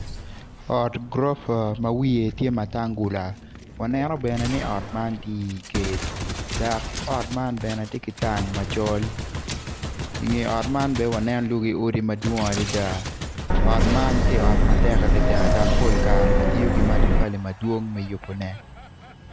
Ot gurofa ma wiye tye matangula waneno bene ni ot man tye i gate dok ot man bene tye ki tang macol inge ot man bene waneno lwaki odi madwong adada ot man tye ot matek adada dok pol kare kitiyo ki matafali madwong me yubone.